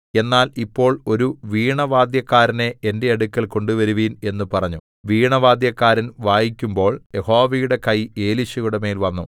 എന്നാൽ ഇപ്പോൾ ഒരു വീണവാദ്യക്കാരനെ എന്റെ അടുക്കൽ കൊണ്ടുവരുവിൻ എന്ന് പറഞ്ഞു വീണവാദ്യക്കാരൻ വായിക്കുമ്പോൾ യഹോവയുടെ കൈ എലീശയുടെമേൽ വന്നു